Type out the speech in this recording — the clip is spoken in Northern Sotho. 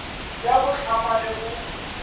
ya go hlama le go